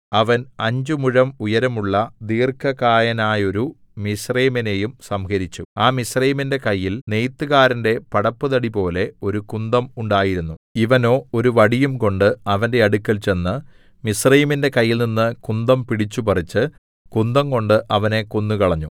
അവൻ അഞ്ചുമുഴം ഉയരമുള്ള ദീർഘകായനായോരു മിസ്രയീമ്യനെയും സംഹരിച്ചു ആ മിസ്രയീമ്യന്റെ കയ്യിൽ നെയ്ത്തുകാരന്റെ പടപ്പുതടിപോലെ ഒരു കുന്തം ഉണ്ടായിരുന്നു ഇവനോ ഒരു വടിയുംകൊണ്ടു അവന്റെ അടുക്കൽ ചെന്നു മിസ്രയീമ്യന്റെ കയ്യിൽനിന്ന് കുന്തം പിടിച്ചുപറിച്ചു കുന്തംകൊണ്ട് അവനെ കൊന്നുകളഞ്ഞു